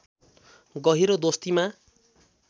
गहिरो दोस्तीमा